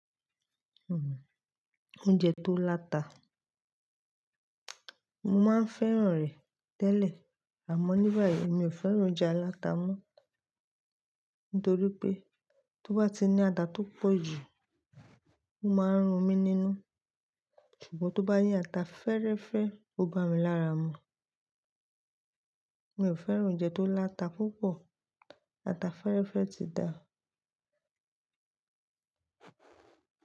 Oúnjẹ tó láta, mo máa ń fẹ́ràn rẹ̀ tẹ́lẹ̀ àmọ́ ní báyìí mi ò fẹ́ràn oúnjẹ aláta mọ́. Nítorí pé tó bá ti ní ata tó pọ̀ jù ó máa ń run mí nínú, ṣùgbọ́n tó bá yẹ́ ata fẹ́rẹ́fẹ́ ó bá mi lára mu. Mi ò fẹ́ràn oúnjẹ tó láta púpọ̀, ata fẹ́rẹ́fẹ́ ti dáa.